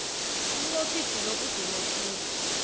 umnqophisi lo udume khulu